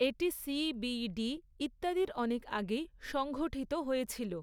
এটি C B D ইত্যাদির অনেক আগেই সংঘঠিত হয়েছিল।